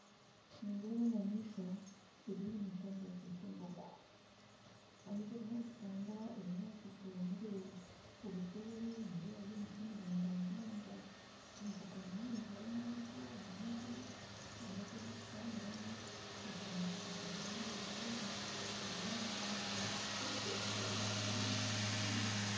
Nindeeba enyamaishwa ezo nyamaishwa nibazeeta embogo. Ahaziriho nizitambura ebinyaatsi byomere. Obuserri nindeebayo emiti miringwa munonga. Embogo ninyingi harimu ento harimu enkuru ebinyaatsi ebizikutamburamu buzima byomere kandi buseeri hariyo emiti then kuri buseeri nindeeba hariyo omushana mwingi